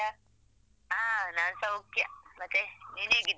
ಹಾ ನಾನ್ ಸೌಖ್ಯ ಮತ್ತೆ ನಿನ್ ಹೇಗಿದ್ದೀಯ?